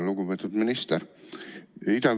Lugupeetud minister!